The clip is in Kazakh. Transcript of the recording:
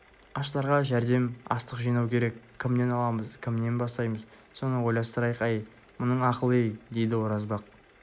аштарға жәрдем астық жинау керек кімнен аламыз кімнен бастаймыз соны ойластырайық әй мұның ақыл-ей деді оразбақ